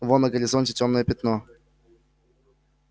вон на горизонте тёмное пятно